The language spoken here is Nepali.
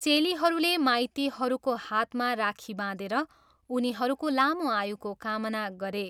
चेलीहरूले माइतीहरूको हातमा राखी बाँधेर उनीहरूको लामो आयुको कामना गरे।